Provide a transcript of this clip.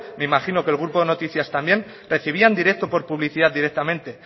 me imagino que el grupo noticias también recibían directo por publicidad directamente